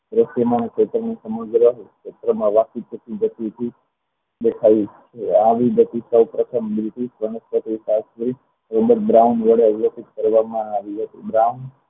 વાંકી ચૂકી જતી ગુંજ દેખાય છે આ વિગતિ પર પ્રથમ બીજી